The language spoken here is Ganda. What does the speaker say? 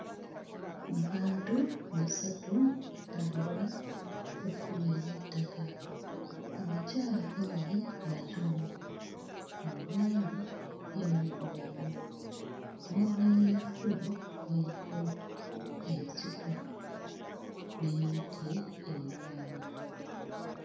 Mu bantu basatu batambula ku kkubo ery'ettaka abakyala ababiri bazungu omwami ye muddugavu mabbali y'ekkubo waliyo ensiko n'emiti emivanvu.